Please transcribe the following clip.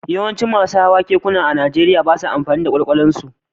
Yawancin masu hawan keke a Najeriya ba sa amfani da kwalkwalinsu